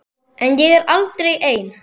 En ég er aldrei ein.